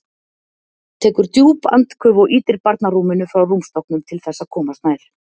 Tekur djúp andköf og ýtir barnarúminu frá rúmstokknum til þess að komast nær.